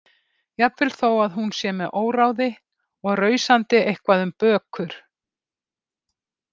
Jafnvel þó að hún sé með óráði og rausandi eitthvað um bökur.